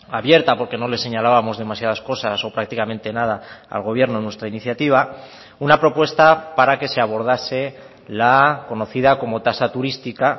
abierta porque no les señalábamos demasiadas cosas o prácticamente nada al gobierno nuestra iniciativa una propuesta para que se abordase la conocida como tasa turística